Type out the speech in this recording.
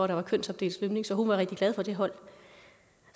der var kønsopdelt svømning så hun var rigtig glad for det hold